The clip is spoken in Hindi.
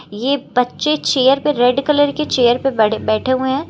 ये बच्चे चेयर पे रेड कलर के चेयर पर बडे बैठे हुए हैं।